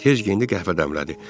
Tez geyindi, qəhvə dəmlədi.